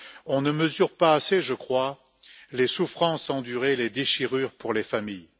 On ne mesure pas assez, je crois, les souffrances endurées, les déchirures pour les familles.